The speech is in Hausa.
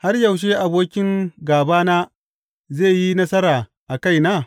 Har yaushe abokin gābana zai yi nasara a kaina?